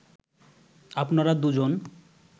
আপনারা দুজন